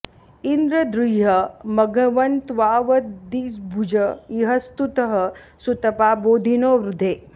इन्द्र दृह्य मघवन्त्वावदिद्भुज इह स्तुतः सुतपा बोधि नो वृधे